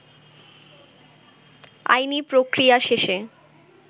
আইনী প্রক্রিয়া শেষে